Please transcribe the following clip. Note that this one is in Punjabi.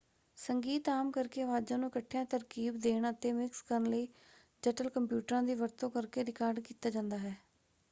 ਸੰਗੀਤ ਆਮ ਕਰਕੇ ਅਵਾਜ਼ਾਂ ਨੂੰ ਇਕੱਠਿਆ ਤਰਕੀਬ ਦੇਣ ਅਤੇ ਮਿਕਸ ਕਰਨ ਲਈ ਜਟਲ ਕੰਪਿਊਟਰਾਂ ਦੀ ਵਰਤੋਂ ਕਰਕੇ ਰਿਕਾਰਡ ਕੀਤਾ ਜਾਂਦਾ ਹੈ।